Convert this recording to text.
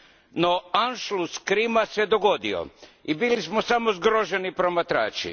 No, Anschluss Krima se dogodio, i bili smo samo zgroženi promatrači.